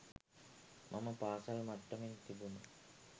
මම පාසල් මට්ටමින් තිබුණ